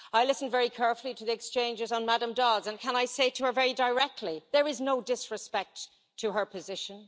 I listened very carefully to the exchanges on Ms Dodds, and can I say to her very directly there is no disrespect to her position